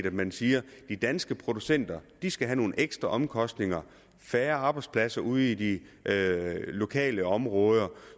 at man siger at de danske producenter skal have nogle ekstraomkostninger færre arbejdspladser ude i de lokale områder